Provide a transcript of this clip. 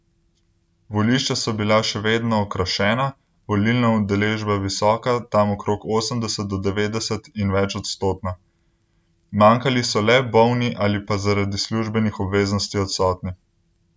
Volišča so bila še vedno okrašena, volilna udeležba visoka tam okrog osemdeset do devetdeset in večodstotna, manjkali so le bolni ali pa zaradi službenih obveznosti odsotni.